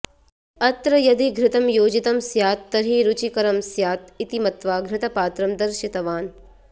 अत्र यदि घृतं योजितं स्यात् तर्हि रुचिकरं स्यात् इति मत्वा घृतपात्रं दर्शितवान्